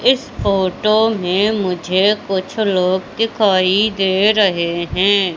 इस फोटो में मुझे कुछ लोग दिखाई दे रहें हैं।